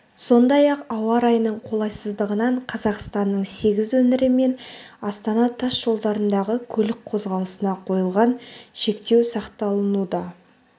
сондай-ақ ауа райының қолайсыздығынан қазақстанның сегіз өңірі мен астана тас жолдарындағы көлік қозғалысына қойылған шектеу сақталынуда